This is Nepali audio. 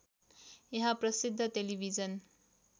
यहाँ प्रसिद्ध टेलिभिजन